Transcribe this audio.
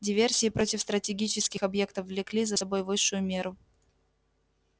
диверсии против стратегических объектов влекли за собой высшую меру